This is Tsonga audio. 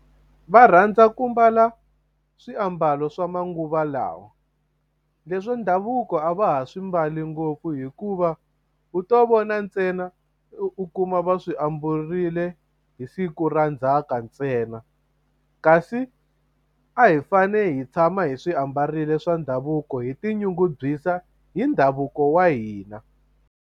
Va rhandza ku mbala swiambalo swa manguva lawa leswa ndhavuko a va ha swi mbali ngopfu hikuva u to vona ntsena u u kuma va swi ambarile hi siku ra ndzhaka ntsena kasi a hi fane hi tshama hi swi ambarile swa ndhavuko hi tinyungubyisa hi ndhavuko wa hina.